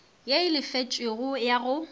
ye e lefetšwego ya go